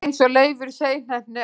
eins og Leifur seinheppni áðan!